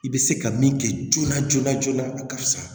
I bɛ se ka min kɛ joona joona joona ka fisa